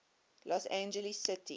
los angeles city